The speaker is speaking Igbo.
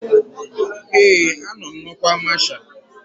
Ee, anọ m n'ọkwa masha